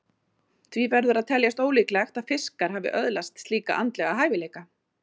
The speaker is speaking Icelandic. Því verður að teljast ólíklegt að fiskar hafi öðlast slíka andlega hæfileika.